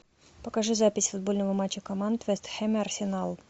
покажи запись футбольного матча команд вест хэм и арсенал